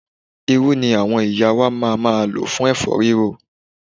Irú ni àwọn ìyá wa ma máa lò fún ẹ̀fọ́ rírò.